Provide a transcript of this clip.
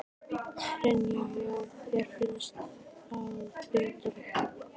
Brynja: Já þér finnst það betra?